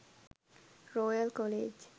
royal college